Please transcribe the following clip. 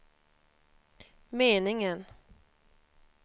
meningen